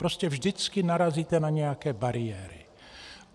Prostě vždycky narazíte na nějaké bariéry.